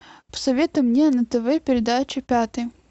посоветуй мне на тв передачу пятый